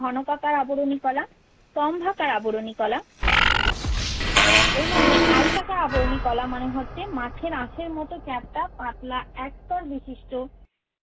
ঘনাকাকার আবরণী কলা, স্তম্ভকার আবরণী কলা। এর মধ্যে আয়তাকার আবরণী কলা মানে হচ্ছে মাছের আঁশের মতো চ্যাপ্টা পাতলা একস্তর বিশিষ্ট